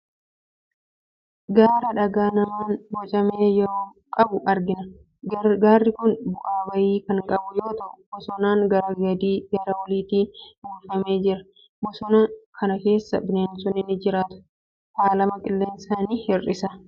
Gaara dhagaa namaan bocame qabu argina. Gaarri kun bu'aa ba'ii kan qabu yoo ta'u boosonan gara gadii fi gara oliitiin uwwifamee jira. Bosona kana keessa bineensonni ni jiraatu. Faalama qilleensaa ni hir'isa.